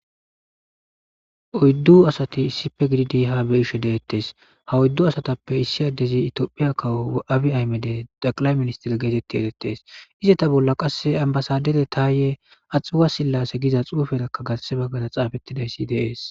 oyddu asati issife gididi ha beishe deettes ha oyddu asatappe issi addezi itoophiya kawo abi aymede daqilay ministir geetetti edettes ize ta bolla qasse ambasadere taaye axuwa sillase giza xuufelakka gasse baggada xaafettidayssi deees